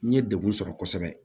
N ye degun sɔrɔ kosɛbɛ